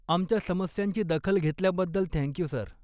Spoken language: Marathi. आमच्या समस्यांची दखल घेतल्याबद्दल थँक यू, सर.